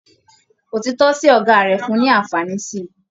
Òtítọ sí ọgá rẹ fún ní anfààní sí.